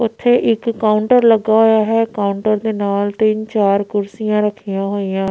ਉੱਥੇ ਇੱਕ ਕਾਉੰਟਰ ਲੱਗਿਆ ਹੋਇਆ ਹੈ ਕਾਉੰਟਰ ਦੇ ਨਾਲ ਤਿੰਨ ਚਾਰ ਕੁਰਸਿਆਂ ਰੱਖੀਆਂ ਹੋਈਆਂ।